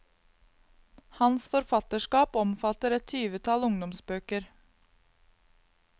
Hans forfatterskap omfatter et tyvetall ungdomsbøker.